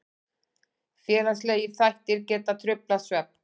Félagslegir þættir geta truflað svefn.